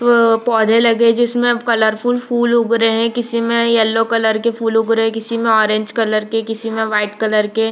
प पौधे लगे है जिसमे कलरफुल फुल उग रहे है किसी मै येलो कलर के फुल उग रहे हैं किसी मे ऑरेंज कलर के किसी मे व्हाइट कलर के --